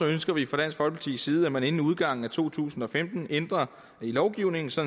ønsker vi fra dansk folkepartis side at man inden udgangen af to tusind og femten ændrer i lovgivningen så